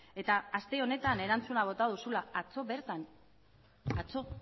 eta aste honetan erantzuna bota duzula atzo bertan atzo